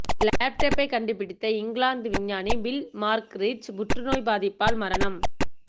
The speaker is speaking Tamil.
லேப்டப்பை கண்டுபிடித்த இங்கிலாந்து விஞ்ஞானி பில் மாக்ரிட்ஜ் புற்றுநோய் பாதிப்பால் மரணம்